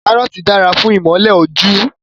Karoti dara fun imole oju